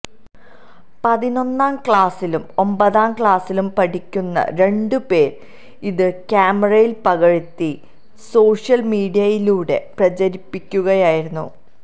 പതിനൊന്നാം ക്ലാസിലും ഒമ്പതാം ക്ലാസിലും പഠിക്കുന്ന രണ്ട് പേര് ഇത് ക്യാമറയില് പകര്ത്തി സോഷ്യല് മീഡിയയിലൂടെ പ്രചരിപ്പിക്കുകയായിരുന്നു